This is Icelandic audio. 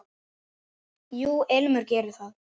Jú, Ilmur gerir það.